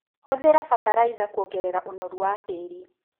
Hũthĩra bataraitha kuongerera ũnoru wa tĩri.